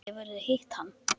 Hefurðu hitt hann?